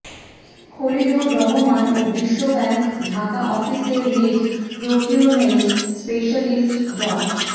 খলিলুর রহমান ও বিশ্বব্যাংক ঢাকা অফিসের লিড প্রকিউরমেন্ট স্পেশালিস্ট ড